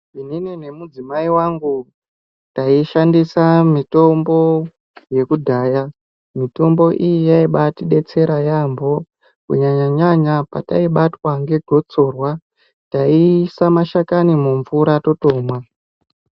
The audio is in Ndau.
Inini nemudzimai wangu taishandisa mitombo yekudhaya. Mitombo iyi yaibaatidetsera yaambo. Kunyanya-nyanya pataibatwa ngegotsorwa, taiisa mashakani mumvura totomwa.